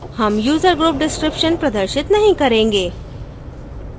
हम user group description प्रदर्शित नहीं करेंगे